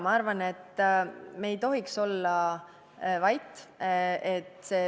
Ma arvan, et me ei tohiks olla vait.